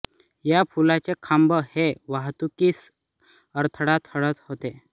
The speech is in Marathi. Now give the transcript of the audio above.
या पुलाचे खांब हे वाहतुकीस अडथळा ठरत होते